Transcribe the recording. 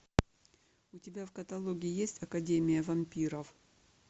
у тебя в каталоге есть академия вампиров